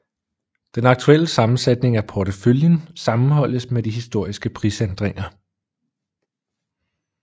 Den aktuelle sammensætning af porteføljen sammenholdes med de historiske prisændringer